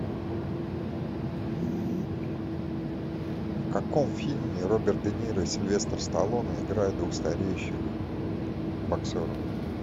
в каком фильме роберт де ниро и сильвестр сталлоне играют двух стареющих боксеров